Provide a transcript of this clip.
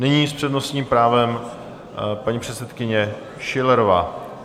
Nyní s přednostním právem paní předsedkyně Schillerová.